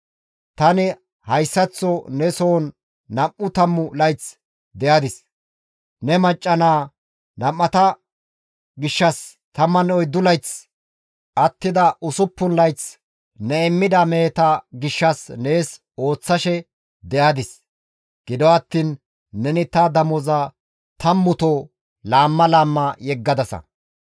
Tani hayssaththo ne soon nam7u tammu layth de7adis; ne macca naa nam7ata gishshas 14 layth, attida usuppun layth ne immida meheta gishshas nees ooththashe de7adis; gido attiin neni ta damoza tammuto laamma laamma yeggadasa.